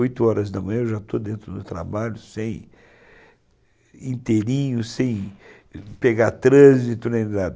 Oito horas da manhã eu já estou dentro do trabalho, sem, inteirinho, sem pegar trânsito, nem nada.